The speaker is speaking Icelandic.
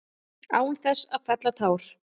Án þess að fella tár.